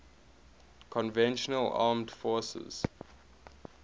conventional armed forces